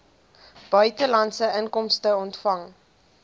buitelandse inkomste ontvang